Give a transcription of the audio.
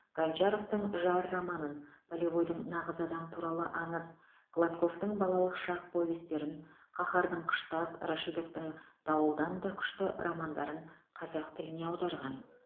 гончаровтың жар романын полевойдың нағыз адам туралы аңыз гладковтың балалық шақ повестерін қаһардың қыштақ рашидовтың дауылдан да күшті романдарын қазақ тіліне аударған